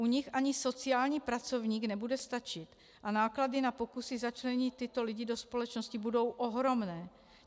U nich ani sociální pracovník nebude stačit a náklady na pokusy začlenit tyto lidi do společnosti budou ohromné.